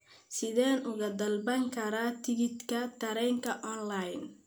Sideen uga dalban karaa tigidhka tareenka onlayn?